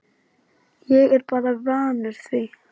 Ég er bara vanur því